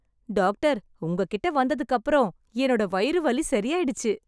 Doctor உங்க கிட்ட வந்ததுக்கு அப்புறம் என்னோட வயிறு வலி சரியாயிடுச்சு.